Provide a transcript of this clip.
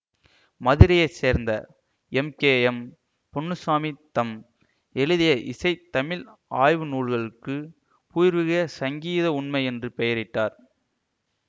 மதுரையை சேர்ந்த M K M Ponnuchami தம் எழுதிய இசை தமிழ் ஆய்வு நூல்கலுக்கு பூர்வீக சங்கீத உண்மை என்று பெயரிட்டார்